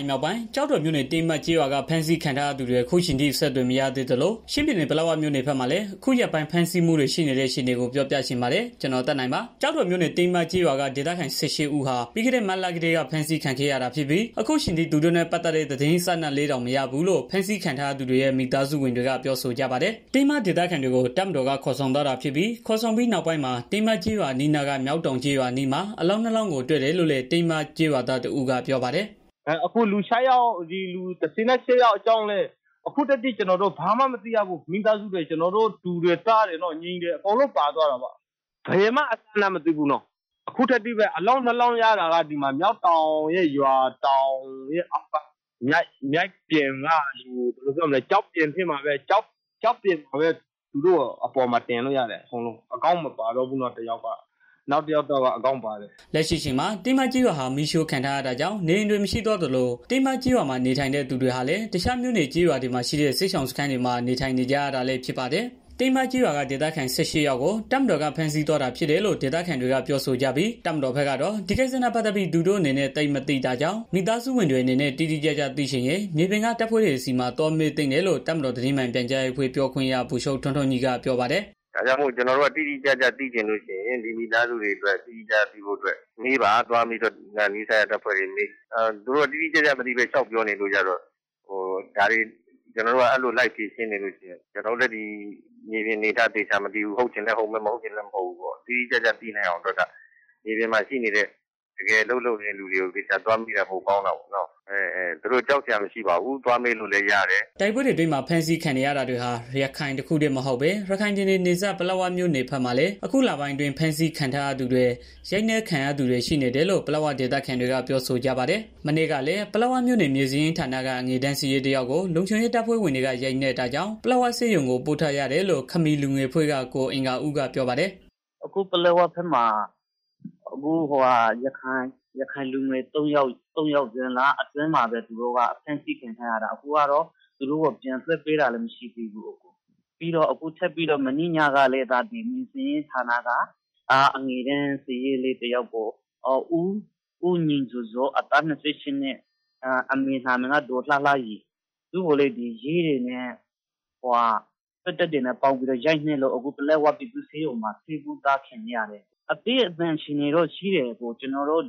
ုင်မြောက်ပိုင်း ကျောက်တော်မြို့နယ် ကတင်းမကျေးရွာက ဖမ်းဆီးခံထားရသူတွေ အခုအချိန်ထိ အဆက်အသွယ်မရသေးသလို ချင်းပြည်နယ် ပလက်ဝမြို့နယ်ဘက်မှာလည်း အခုရက်ပိုင်း ဖမ်းဆီးမှုတွေ ရှိနေတဲ့ အခြေအနေကို ဗွီအိုအေမြန်မာပိုင်းသတင်းထောက် ကိုသက်နိုင်က ပြောပြချင်ပေးပါမယ်။ ကျောက်တော်မြို့နယ် တင်းမကျေးရွာက ဒေသခံ ၁၈ ဦးဟာ ပြီးခဲ့ မတ်လကတည်းက ဖမ်းဆီးခံခဲ့ရတာ ဖြစ်ပြီး အခုအချိန်ထိ သူတို့နဲ့ ပတ်သတ်တဲ့ သတင်းအစအနလေးတောင်မရဘူးလို့ ဖမ်းဆီးခံရသူတွေရဲ့ မိသားစုဝင်တွေက ပြောဆိုကြပါတယ်။ တင်းမဒေသခံတွေကို တပ်မတော်ကခေါ်ဆောင်သွားတာဖြစ်ပြီး ခေါ်ဆောင်သွားပြီး နောက်ပိုင်းမှာ တင်းမကျေးရွာ အနီးအနားက မျောက်တောင်ကျေးရွာအနီးမှာ အလောင်းနှစ်လောင်းကိုတွေ့တယ်လို့လည်း တင်းမကျေးရွာသားတစ်ဦးက ပြောပါတယ်။ "အခု လူ ၁၈ ယောက်အကြောင်းလည်း ဘာမှမသိရဘူး။ ကျနော်တို့ မိသားစုဝင်တွေ တူတွေ၊ သားတွေဝ ညီတွေ အကုန်လုံးပါသွားတာပေါ့။ ဘယ်မှအစအနတောင်မသိရဘူး။ အခုထက်ထိပဲ။ အလောင်းနှစ်လောင်းရတာကတော့ မျောက်တောင်းကျေးရွာရဲ့ ရွာအောက်က မြစ်ပြင်က ကျောက်ဖြာပေါ်မှာ တင်ပြီးတော့ရတာ တစ်ယောက်ကတော့ ဦးခေါင်းမပါတော့ဘူး တစ်ယောက်ကတော့ ဦးခေါင်းပါတယ်။" လက်ရှိအချိန်မှာ တင်းမကျေးရွာဟာ မီးရှို့ခံထားရတာကြောင့် နေအိမ်တွေ မရှိတော့သလို တင်းမကျေးရွာမှာ နေထိုင်သူတွေဟာလည်း တခြားမြို့နယ်ကျေးရွာတွေမှာရှိတဲ့ စစ်ရှောင်စခန်းတွေမှာ နေထိုင်နေကြတာလည်း ဖြစ်ပါတယ်။ တင်းမကျေးရွာက ဒေသခံ ၁၈ ယောက်ကို တပ်မတော်က ဖမ်းဆီးသွားတာဖြစ်တယ်လို့ ဒေသခံတွေကပြောဆိုကြပြီး တပ်မတော်ဘက်ကတော့ ဒီကိစ္စနဲ့ ပတ်သတ်ပြီး သူတို့အနေနဲ့ သိပ်မသိတာကြောင့် မိသားစုဝင်တွေအနေနဲ့ တိတိကျကျသိချင်ရင် မြေပြင်က တပ်ဖွဲ့တွေဆီမှာ သွားမေးသင့်တယ်လို့ တပ်မတော်သတင်း မှန်ပြန်ကြားရေးအဖွဲ့ပြောခွင့်ရ ဗိုလ်ချုပ် ထွန်းထွန်းညီကပြောပါတယ်။ "ကျနော်တို့က တိတိကျကျသိချင်လို့ရှိရင် ဒီမိသားစုတွေအတွက် တိတိကျကျသိဖို့မေးပါသွားပြီးတော့ နီးစပ်ရာ တပ်ဖွဲ့တွေကို မေးပါ။ သူတို့ကတိတိကျကျမသိ လျှောက်ပြောနေရင်း ကျနော်တို့က ဒါတွေကို လိုက်ပြီးဖြေရှင်းနေရင် ကျနော်တို့လည်း ဒီမြေပြင်အနေအထားကို သေချာမသိဘူး။ ဟုတ်ချင်လည်း ဟုတ်မယ်၊ မဟုတ်ချင်လည်း မဟုတ်ဘူး။ တိတိကျကျသိဖို့အတွက်က မြေပြင်မှာ ရှိနေတဲ့ တကယ်အလုပ်လုပ်နေတဲ့ လူတွေကို သေချာသွား မေးတာပိုကောင်းတာပေါ့နော်။ သူတို့ကြောက်စရာ မရှိပါဘူး သွားမေးလို့လည်းရတယ်။" တိုက်ပွဲတွေအတွင်းမှာ ဖမ်းဆီးခံနေရတာတွေဟာ ရခိုင်တစ်ခုတည်းမဟုတ်သလို ရခိုင်ပြည်နယ် နယ်စပ် ပလက်ဝမြို့နယ်ဘက်မှာ အခုလပိုင်းအတွင်း ဖမ်းဆီးခံထားရသူတွေ ရိုက်နက်ခံရသူတွေ ရှိတယ်နေတယ်လို့ ပလက်ဝဒေသခံတွေက ပြောဆိုကြပါတယ်။ မနေ့ကလည်း ပလက်ဝမြို့နယ် မြေစာရင်းဌာနက အငယ်တန်းစာရေး တစ်ယောက်ကို လုံခြုံရေး တပ်ဖွဲ့ဝင်တွေက ရိုက်နှက်တာကြောင့် ပလက်ဝဆေးရုံကို ပို့ထားရတယ်လို့ ခမီးလူငယ်အဖွဲ့က ကိုအင်္ဂါဦးက ပြောပါတယ်။ "အခုပလက်ဝဘက်မှာ ရခိုင်လူငယ် သုံးယောက် ဒီဇွန်လအတွင်းမှာပဲ ဖမ်းဆီးခံထားရတာ သူတို့ကိုပြန်လွတ်ပေးတာလည်း မရှိသေးဘူး။ ပြီးတော့ ထပ်ပြီးတော့ မနေ့ညကလည်း မြေစာရင်းဌာနက အငယ်တန်း စာရေးလေး တစ်ယောက်ကို ဦးညီဇော်ဇော် အသက် (၂၈ နှစ် ) အမေနာမည်က ဒေါ်လှလှရီ သူ့ကိုလည်း ရဲတွေနဲ့ စစ်တပ်နဲ့ ပေါင်းရိုက်လို့ အခု ပလက်ဝပြည်သူ့ဆေးရုံမှာ တင်ထားရတယ်။ အသည်းအသန် အခြေအနေေတော့ ရှိတယ်။ ကျနော်တို့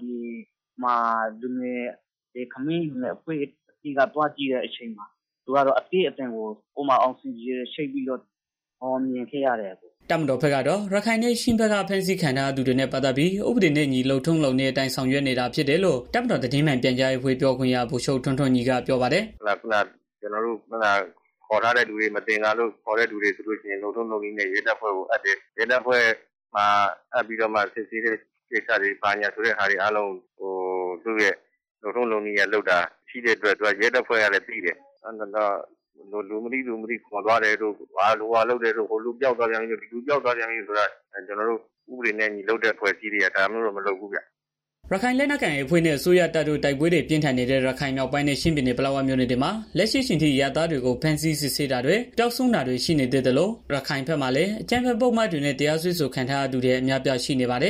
ခမီးလူ ငယ်အဖွဲ့ကသွားကြည့်တော့ အသည်းအသန် အာဆီဂျင် ချိတ်ပြီးတော့ မြင်ခဲ့ရတယ်။" တပ်မတော်ဘက်ကတော့ ရခိုင်နဲ့ ချင်းဘက်က ဖမ်းဆီးခံရသူတွေနဲ့ ပတ်သတ်ပြီး ဥပဒေနဲ့အညီ လုပ်ထုံးလုပ်နည်းအတိုင်း ဆောင်ရွက်နေတာဖြစ်တယ်လို့ တပ်မတော်သတင်း မှန်ပြန်ကြားရေးအဖွဲ့ပြောခွင့်ရ ဗိုလ်ချုပ် ထွန်းထွန်း ညီကပြောပါတယ်။ "ကျနော်တို့က မသင်္ကာလို့ ခေါ်ထားတဲ့သူတွေဆိုရင် လုပ်ထုံးလုပ်နည်းနဲ့ ရဲတပ်ဖွဲ့ကို အပ်တယ်။ စစ်ဆေးတာတွေလုပ်တာ လုပ်ထုံးလုပ်နည်းနဲ့ လုပ်တာရှိတော့ ရဲတပ်ဖွဲ့ကလည်း သိတယ်။ လူမသိသူမသိ ခေါ်သွားတာတို့ ဟိုလူ ပျောက်သွားပြန်ပြီ ဒီလူပျောက်သွားပြန်ပြီတို့ကျနော်တို့ ဥပဒေနဲ့အညီလုပ်တဲ့ အဖွဲ့အစည်းတွေက ဒါမျိုးတော့ မလုပ်ဘူးဗျာ။ " ရခိုင်လက်နက်ကိုင် AA အဖွဲ့ နဲ့ အစိုးရတပ်တို့ တိုက်ပွဲတွေ ပြင်းထန်နေတဲ့ ရခိုင်မြောက်ပိုင်းနဲ့ ချင်းပြည်နယ် ပလက်ဝမြို့နယ်တွေမှာ လက်ရှိအချိန်ထိ အရပ်သားတွေကို ဖမ်းဆီးစစ်ဆေးတာတွေ ပျောက်ဆုံးတာတွေ ရှိနေသေးသလို ရခိုင်ဘက်မှာလည်း အကြမ်းဖက် ပုဒ်မတွေနဲ့ တရားစွဲဆိုခံထားရသူတွေ အများအပြား ရှိနေပါတယ်